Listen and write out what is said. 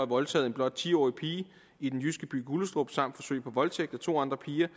voldtaget en blot ti årig pige i den jyske by gullestrup samt for forsøg på voldtægt af to andre piger